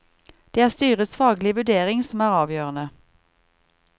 Det er styrets faglige vurdering som er avgjørende.